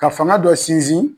Ka fanga dɔ sinsin.